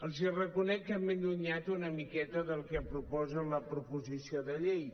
els reconec que m’he allunyat una miqueta del que proposa la proposició de llei